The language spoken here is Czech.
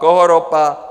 Koho ropa?